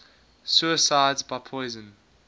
suicides by poison